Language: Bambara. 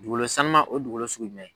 Dugukolosanuma o ye dugukolo sugu jumɛn ye